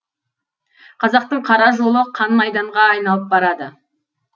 қазақтың қара жолы қан майданға айналып барады